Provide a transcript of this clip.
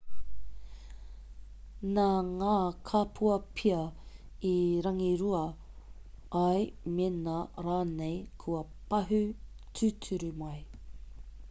nā ngā kapua pea i rangirua ai mēnā rānei kua pahū tūturu mai